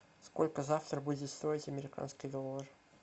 сколько завтра будет стоить американский доллар